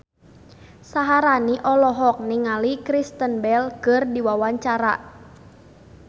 Syaharani olohok ningali Kristen Bell keur diwawancara